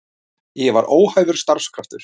Ég var óhæfur starfskraftur.